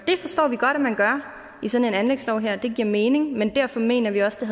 det forstår vi godt at man gør i sådan en anlægslov her det giver mening men derfor mener vi også at